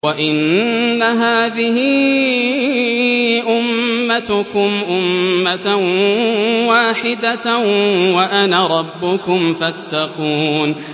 وَإِنَّ هَٰذِهِ أُمَّتُكُمْ أُمَّةً وَاحِدَةً وَأَنَا رَبُّكُمْ فَاتَّقُونِ